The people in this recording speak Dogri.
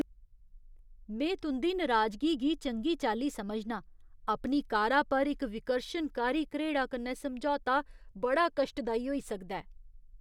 में तुं'दी नराजगी गी चंगी चाल्ली समझनां । अपनी कारा पर इक विकर्शनकारी घरेड़ा कन्नै समझौता बड़ा कश्टदाई होई सकदा ऐ।